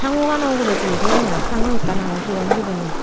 sanguano ugurey tuli toyonde aai sangu ekkan agey sigon guriney.